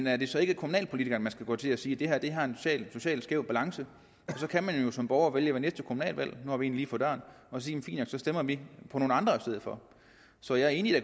er det så ikke kommunalpolitikerne man skal gå til og sige det her har en socialt skæv balance så kan man jo som borger vælge ved næste kommunalvalg nu har vi et lige for døren at sige fint nok så stemmer vi på nogle andre i stedet for så jeg er enig i at